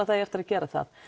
það eigi eftir að gera það